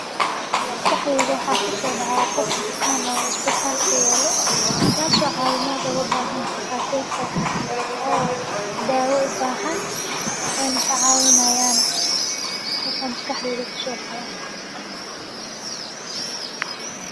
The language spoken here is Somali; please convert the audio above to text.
maskaxdeyda waxaa ku soo dhaca qof bukaan oo isbitaal ka yeelo, gaarso ahawey maada u baahan takhaateerta oo dhaawo u baahan o inek caawinaayaan taas amiskaxdeyda ku soo dhacda.